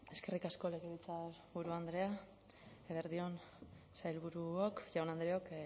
eskerrik asko legebiltzarburu andrea eguerdi on sailburuok jaun andreok